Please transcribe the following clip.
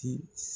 Ti